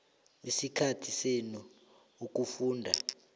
isikhathi senu ukufunda